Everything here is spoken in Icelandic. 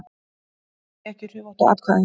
Skilja ekki hrufóttu atkvæðin